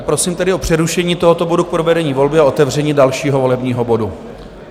A prosím tedy o přerušení tohoto bodu k provedení volby a otevření dalšího volebního bodu.